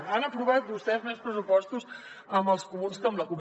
han aprovat vostès més pressupostos amb els comuns que amb la cup